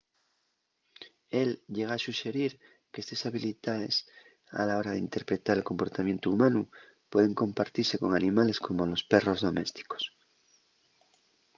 él llega a suxerir qu’estes habilidaes a la hora d’interpretar el comportamientu humanu pueden compartise con animales como los perros domésticos